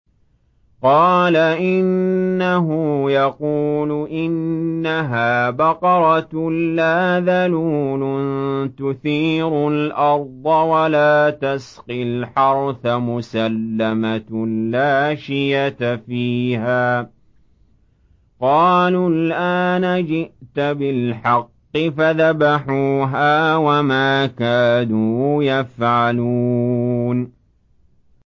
قَالَ إِنَّهُ يَقُولُ إِنَّهَا بَقَرَةٌ لَّا ذَلُولٌ تُثِيرُ الْأَرْضَ وَلَا تَسْقِي الْحَرْثَ مُسَلَّمَةٌ لَّا شِيَةَ فِيهَا ۚ قَالُوا الْآنَ جِئْتَ بِالْحَقِّ ۚ فَذَبَحُوهَا وَمَا كَادُوا يَفْعَلُونَ